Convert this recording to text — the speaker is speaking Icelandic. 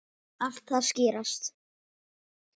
Allt að skýrast